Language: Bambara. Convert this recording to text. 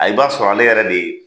Ayi i b'a sɔrɔ , ale yɛrɛ de ye